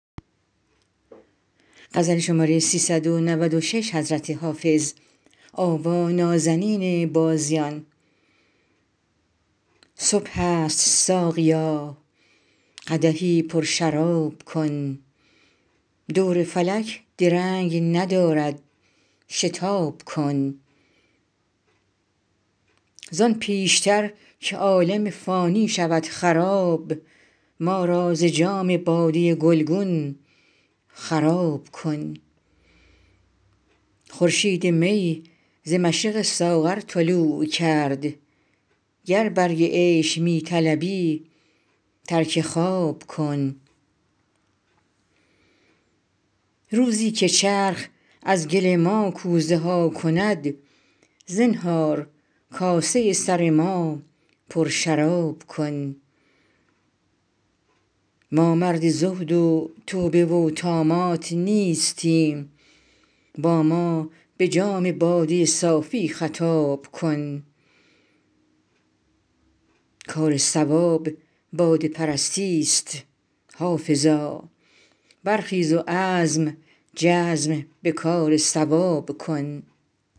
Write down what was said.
صبح است ساقیا قدحی پرشراب کن دور فلک درنگ ندارد شتاب کن زان پیش تر که عالم فانی شود خراب ما را ز جام باده گلگون خراب کن خورشید می ز مشرق ساغر طلوع کرد گر برگ عیش می طلبی ترک خواب کن روزی که چرخ از گل ما کوزه ها کند زنهار کاسه سر ما پرشراب کن ما مرد زهد و توبه و طامات نیستیم با ما به جام باده صافی خطاب کن کار صواب باده پرستی ست حافظا برخیز و عزم جزم به کار صواب کن